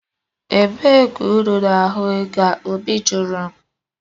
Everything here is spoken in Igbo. Ebee ka unu na-ahụ ego a? Obi jụrụ m